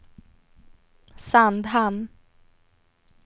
Sandhamn